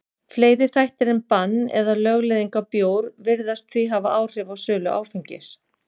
Fleiri þættir en bann eða lögleiðing á bjór virðast því hafa áhrif á sölu áfengis.